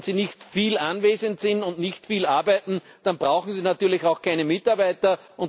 Denn wenn sie nicht viel anwesend sind und nicht viel arbeiten, dann brauchen sie natürlich auch keine Mitarbeiter.